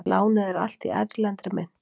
Lánið er allt í erlendri mynt